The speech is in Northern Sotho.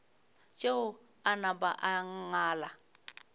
tšeo a napa a ngala